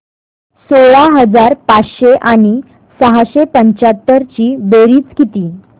सोळा हजार पाचशे आणि सहाशे पंच्याहत्तर ची बेरीज किती